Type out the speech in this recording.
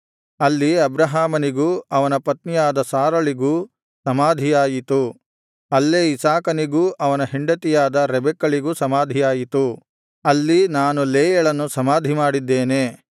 ಅಲ್ಲಿ ಅಬ್ರಹಾಮನಿಗೂ ಅವನ ಪತ್ನಿಯಾದ ಸಾರಳಿಗೂ ಸಮಾಧಿಯಾಯಿತು ಅಲ್ಲೇ ಇಸಾಕನಿಗೂ ಅವನ ಹೆಂಡತಿಯಾದ ರೆಬೆಕ್ಕಳಿಗೂ ಸಮಾಧಿಯಾಯಿತು ಅಲ್ಲಿ ನಾನು ಲೇಯಳನ್ನು ಸಮಾಧಿಮಾಡಿದ್ದೇನೆ